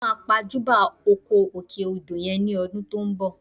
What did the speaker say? Mo máa pàjùbà oko òkè odò yẹn ní ọdún tó ń bọ̀